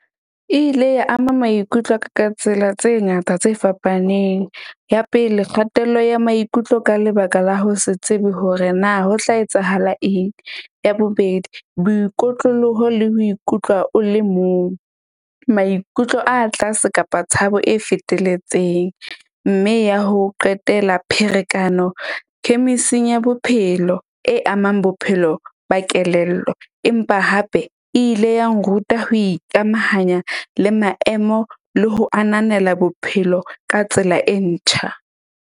E ile ya ama maikutlo a ka ka tsela tse ngata tse fapaneng. Ya pele kgatello ya maikutlo ka lebaka la ho se tsebe hore na ho tla etsahala eng. Ya bobedi boikotloloho le ho ikutlwa o le mong. Maikutlo a tlase kapa tshabo e fetelletseng, mme ya ho qetela pherekano, khemising ya bophelo e amang bophelo ba kelello empa hape e ile ya nruta ho ikamahanya le maemo le ho ananela bophelo ka tsela e ntjha.